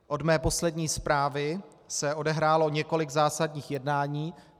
Od mé poslední zprávy se odehrálo několik zásadních jednání.